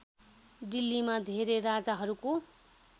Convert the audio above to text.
दिल्लीमा धेरै राजाहरूको